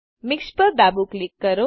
mix પર ડાબું click કરો